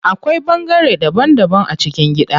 Akwai bangare daban daban a cikin gida.